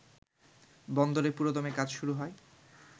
বন্দরে পুরোদমে কাজ শুরু হয়